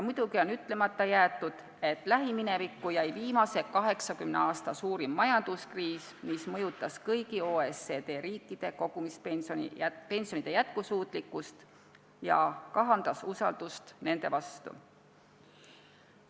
Muidugi on ütlemata jäetud, et lähiminevikku jääb viimase 80 aasta suurim majanduskriis, mis mõjutas kõigi OECD riikide kogumispensionide jätkusuutlikkust ja kahandas usaldust nende fondide vastu.